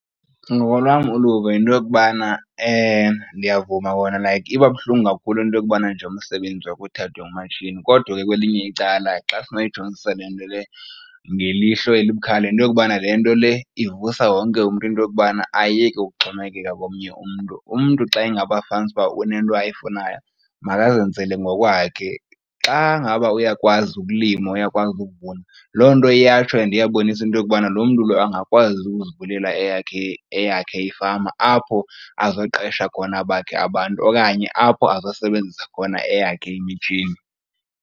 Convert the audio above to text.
Ngokolwam uluvo yinto yokubana ndiyavuma kona like iba buhlungu kakhulu into yokubana nje umsebenzi wakho uthathwe ngumatshini, kodwa ke kwelinye icala xa sinoyijongisisa le nto le ngelihlo elibukhali yinto yokubana le nto le ivusa wonke umntu into yokubana ayeke ukuxhomekeka komnye umntu. Umntu xa ingaba fanisa uba unento ayifunayo makazenzele ngokwakhe, xa ngaba uyakwazi ukulima uyakwazi ukuvuna loo nto iyatsho and iyabonisa into yokubana loo mntu lo angakwazi ukuzivulela eyakhe, eyakhe ifama apho azoqesha khona abakhe abantu okanye apho azosebenzisa khona eyakhe imitshini.